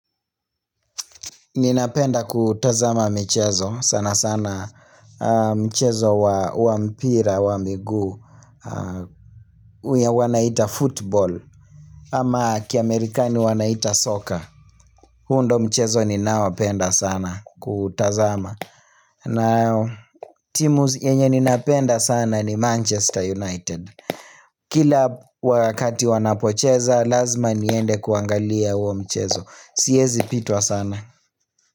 Ninapenda kutazama michezo. Sana sana michezo wa mpira wa miguu. Huw wanaita football ama kiamerikani wanaita soccer. Huo ndio mchezo ninawaopenda sana kutazama. Na timu yenye ninapenda sana ni Manchester United. Kila wakati wanapocheza lazima niende kuangalia huo mchezo. Siwezi pitwa sana.